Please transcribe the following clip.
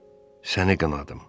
Səni qınadım.